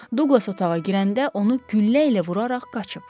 Duqlas otağa girəndə onu güllə ilə vuraraq qaçıb.